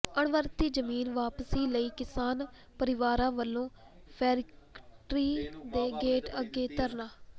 ਅਣਵਰਤੀ ਜ਼ਮੀਨ ਵਾਪਸੀ ਲਈ ਕਿਸਾਨ ਪਰਿਵਾਰਾਂ ਵੱਲੋਂ ਫੈਕਟਰੀ ਦੇ ਗੇਟ ਅੱਗੇ ਧਰਨਾ